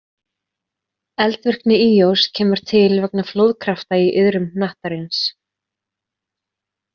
Eldvirkni Íós kemur til vegna flóðkrafta í iðrum hnattarins.